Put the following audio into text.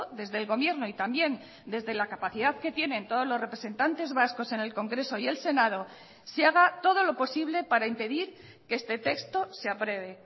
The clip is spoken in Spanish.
desde el gobierno y también desde la capacidad que tienen todos los representantes vascos en el congreso y el senado se haga todo lo posible para impedir que este texto se apruebe